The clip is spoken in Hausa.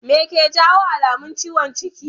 Me ke jawo alamun ciwon ciki?